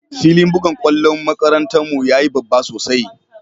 Filin bugan kwallon kwandon makarantan mu ya yi babba sosai.